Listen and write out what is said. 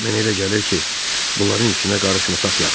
Mən elə gəlir ki, bunların işinə qarışmasaq yaxşıdır.